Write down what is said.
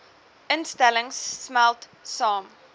instellings smelt saam